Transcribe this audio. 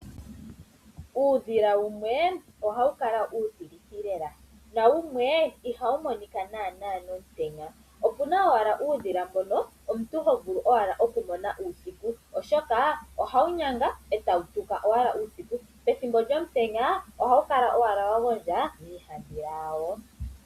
Uudhila wumwe ohawu kala uutilithi lela nawumwe ihawu monika naanaa omutenya. Opuna owala uudhila mbono omuntu ho vulu owala okumona uusiku oshoka ohawu nyanga etawu puka owala uusiku. Pethimbo lyomutenya ohawu kala owala wa gondja miihandhila yawo.